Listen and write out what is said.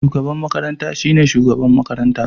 Shugaban makaranta shine shugaban makaranta.